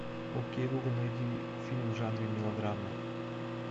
окей гугл найди фильм в жанре мелодрама